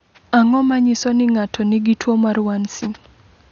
Ang’o ma nyiso ni ng’ato nigi tuwo mar 1C?